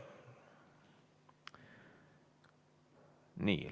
Nii.